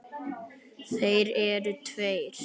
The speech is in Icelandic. Þeir eru tveir.